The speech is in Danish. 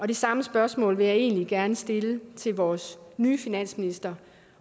det samme spørgsmål vil jeg egentlig gerne stille til vores nye finansminister